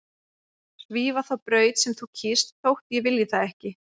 Svífa þá braut sem þú kýst þótt ég vilji það ekki.